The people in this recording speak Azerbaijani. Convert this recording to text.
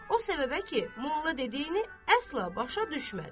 O səbəbə ki, molla dediyini əsla başa düşmədi.